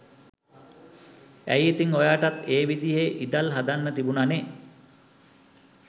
ඇයි ඉතින් ඔයාටත් ඒ විදිහෙ ඉදල් හදන්න තිබුනනෙ